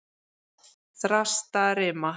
Þrastarima